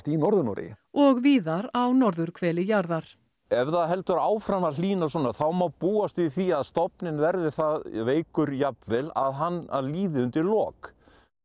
í norður Noregi og víðar á norðurhveli jarðar ef það heldur áfram að hlýna svona þá má búast við því að stofninn verði það veikur jafnvel að hann líði undir lok